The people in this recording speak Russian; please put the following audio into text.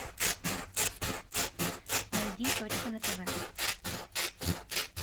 найди точка на тв